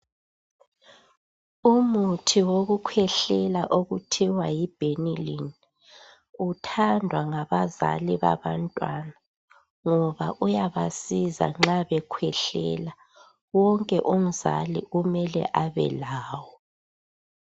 Umuthi wokukhwehlela okuthiwa yi Benylin uthandwa ngabazali babantwana ngoba uyabasiza nxa bekhwehlela wonke umzali kumele abelawo.